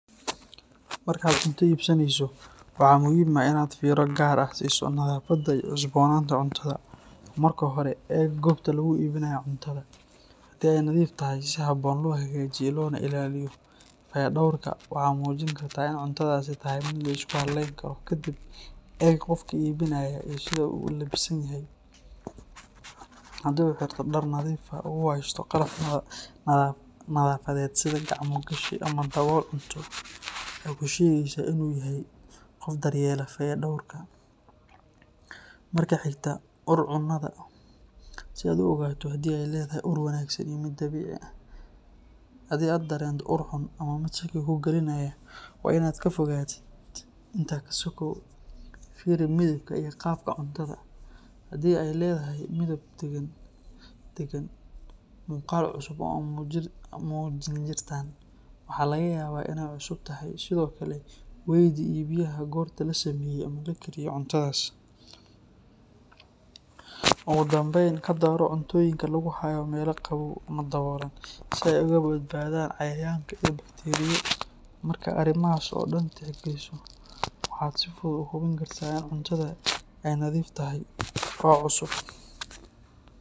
Marka aad cunto iibsanayso, waxaa muhiim ah in aad fiiro gaar ah siiso nadaafadda iyo cusbaynta cuntada. Marka hore, eeg goobta lagu iibinayo cuntada — haddii ay nadiif tahay, si habboon loo hagaajiyey loona ilaaliyo, kadiib taas waxay muujin kartaa in cuntadaasi lagu haleyni karo. Kadib, eeg qofka iibinaya iyo sida uu u labisan yahay. Haddii uu xirto dhar nadiif ah oo uu haysto qalab nadaafeed sida gacmo-gashi ama dabool cunto oo ku yaal cuntada, waxay tusinaysaa in uu yahay qof daryeela fayadhowrka. Marka xigta, ur cunada si aad u ogaato haddii ay leedahay ur wanaagsan iyo dabiici ah. Haddii aad dareento ur xun ama mid kuu keenaya shaki, waa in aad ka fogaato. Intaa ka sokow, fiiri midabka iyo qaabka cuntada — haddii ay leedahay midab degan iyo muuqaal cusub, waxaa laga yaabaa inay cusub tahay. Sidoo kale, weydii iibiyaha cuntada goorta la sameeyey ama la kariyey. Ugu dambayn, ka dooro cuntada lagu hayo meelaha qabow ama daboosha leh si ay uga badbaado cayayaanada ama bakteeriyada. Marka aad dhammaan arrimahan tixgeliso, waxaad si fudud u hubin kartaa in cuntada aad iibsanayso ay nadiif tahay, cusubna tahay.